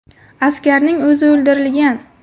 Askarning o‘zi o‘ldirilgan.